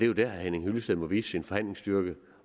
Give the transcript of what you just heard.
jo dér herre henning hyllested må vise sin forhandlingsstyrke